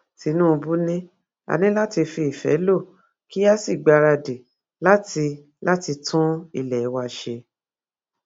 tinúbú ni a ní láti fi ìfẹ lọ kí a sì gbáradì láti láti tún ilé wa ṣe